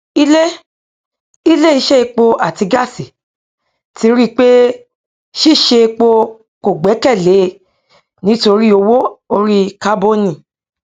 ilé ilé iṣẹ epo àti gáàsì ti ri pé ṣíṣe epo kò gbẹkèlé nítorí owó orí kábònì